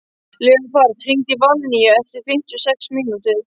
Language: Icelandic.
Leópold, hringdu í Valnýju eftir fimmtíu og sex mínútur.